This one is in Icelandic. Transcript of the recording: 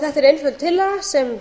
þetta er einföld tillaga sem